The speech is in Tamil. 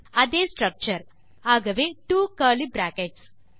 அதே ஸ்ட்ரக்சர் ஆகவே ட்வோ கர்லி பிராக்கெட்ஸ்